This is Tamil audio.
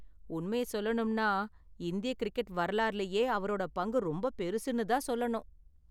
உண்மைய சொல்லணும்னா, இந்திய கிரிக்கெட் வரலாறுலயே அவரோட பங்கு ரொம்ப பெருசுனு தான் சொல்லணும்.